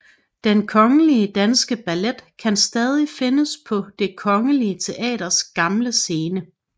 Den Kongelige Danske Ballet kan stadig findes på Det Kongelige Teaters gamle scene